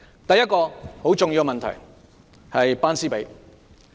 第一個很重要的問題，就是"班師比"。